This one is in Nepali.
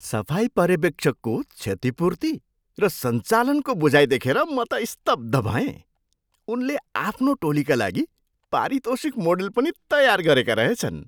सफाई पर्यवेक्षकको क्षतिपूर्ति र सञ्चालनको बुझाइ देखेर म त स्तब्ध भएँ। उनले आफ्नो टोलीका लागि पारितोषिक मोडेल पनि तयार गरेका रहेछन्।